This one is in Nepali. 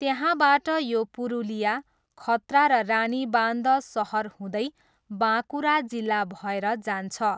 त्यहाँबाट यो पुरुलिया, खत्रा र रानीबान्ध सहर हुँदै बाँकुरा जिल्ला भएर जान्छ।